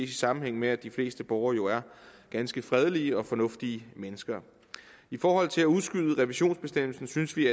i sammenhæng med at de fleste borgere er ganske fredelige og fornuftige mennesker i forhold til at udskyde revisionsbestemmelsen synes vi